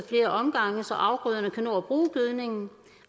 flere omgange så afgrøderne kan nå at bruge gødningen